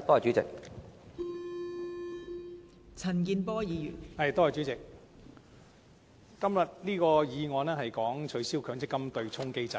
今天的議案關於取消強制性公積金對沖機制，